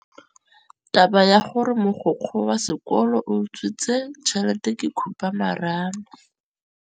Taba ya gore mogokgo wa sekolo o utswitse tšhelete ke khupamarama.